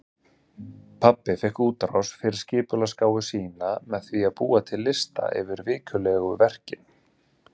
Pabbi fékk útrás fyrir skipulagsgáfu sína með því að búa til lista yfir vikulegu verkin.